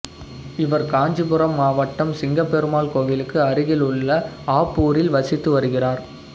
இவர் காஞ்சிபுரம் மாவட்டம் சிங்கப்பெருமாள் கோவிலுக்கு அருகில் உள்ள ஆப்பூரில் வசித்து வருகிறார்